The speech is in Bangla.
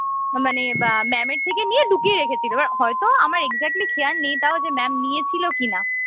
মানে আহ mam এর থেকে নিয়ে লুকিয়ে রেখেছিল এবার হয়তো আমার exactly খেয়াল নেই তও যে mam নিয়েছিল কিনা